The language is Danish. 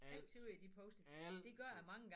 Alt altid